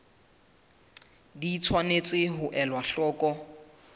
di tshwanetse ho elwa hloko